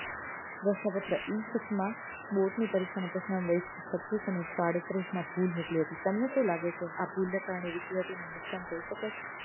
પ્રશ્નપત્ર E six માં board ની પરીક્ષા ના પ્રશ્ન નંબર એક સો છત્રીસ અને એક સો આડત્રીસ માં ભૂલ નીકળી હતી તમને શુ લાગે છે આ ભૂલ ના કારણે વિદ્યાર્થીઓ ને નુકશાન થઇ શકે છે